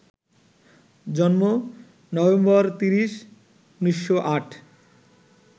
জন্মঃ November ৩০, ১৯০৮